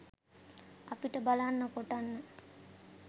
අපිට බලන්න කොටන්න